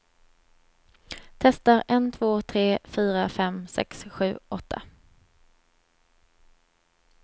Testar en två tre fyra fem sex sju åtta.